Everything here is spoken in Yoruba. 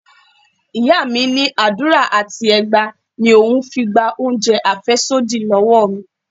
Ìyá mi ní àdúrà àti ẹgba ni òun fi gba oúnjẹ afesodi lọ́wọ́ mi.